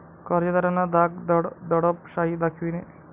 कर्जदारांना धाक दडप शाही दाखविणे.